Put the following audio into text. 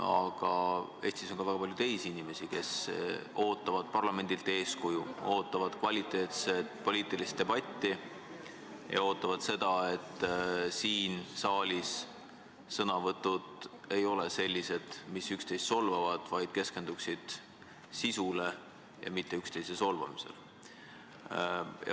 Aga Eestis on ka väga palju teisi inimesi, kes ootavad parlamendilt eeskuju, ootavad kvaliteetset poliitilist debatti ja seda, et siin saalis ei oleks sõnavõtud sellised, mis üksteist solvavad, vaid keskenduksid sisule – mitte üksteise solvamisele.